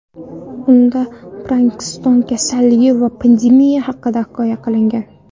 Unda Parkinson kasalligi va pandemiya haqida hikoya qilingan.